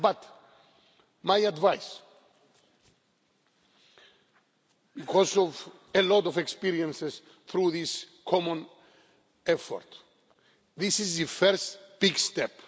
But my advice, because of a lot of experience through this common effort, is that this the first big step.